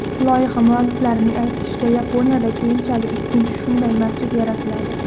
Loyiha mualliflarining aytishicha, Yaponiyada keyinchalik ikkinchi shunday masjid yaratiladi.